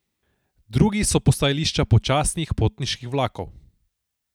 Drugi so postajališča počasnih potniških vlakov.